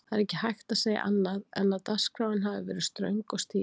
Það er ekki hægt að segja annað en að dagskráin hafi verið ströng og stíf.